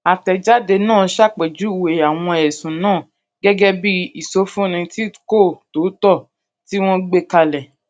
àtẹjáde náà ṣàpèjúwe àwọn ẹsùn náà gẹgẹ bí ìsọfúnni tí kò tòótọ tí wọn gbé kalẹ